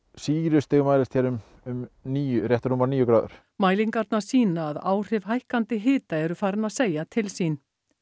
sýrustig mælist hér um um níu rétt rúmar níu gráður mælingarnar sýna að áhrif hækkandi hita eru farin að segja til sín